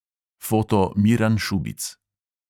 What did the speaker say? (foto: miran šubic)